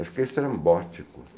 Acho que é estrambótico.